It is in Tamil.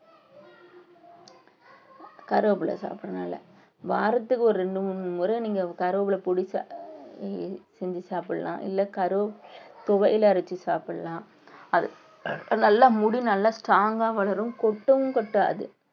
கருவேப்பிலை சாப்பிடறதுனால. வாரத்துக்கு ஒரு இரண்டு மூணு முறை நீங்க கறிவேப்பிலை பொடிசா செஞ்சு சாப்பிடலாம். இல்லை கரு துவையல் அரைச்சு சாப்பிடலாம். நல்லா முடி நல்லா strong ஆ வளரும் கொட்டும் கொட்டாது.